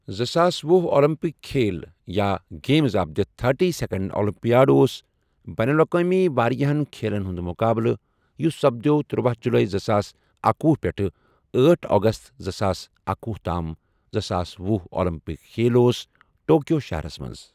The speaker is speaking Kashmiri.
زٕساس ۄہُ اولمپِک کھیل یا games of the thirty second Olympiad اوس بَین الاَقوٲمی واریاہَن کھیلَن ہُنٛد مُقابلہٕ یُس سَپدۆو تٔروۄہُ جُلَے زٕساس اکۄہُ پؠٹھٕ أٹھ اَگَست زٕساس اکۄہُ تام زٕساس ۄہُ آلَمپِک کھیل اوس ٹوکیو شَہَرَس مَنٛز۔